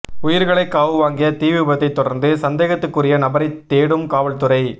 உயிர்களை காவு வாங்கிய தீவிபத்தை தொடர்ந்து சந்தேகத்துக்குரிய நபரை தேடும் காவல்துறை